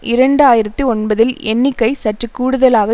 இரண்டு ஆயிரத்தி ஒன்பதில் எண்ணிக்கை சற்று கூடுதலாக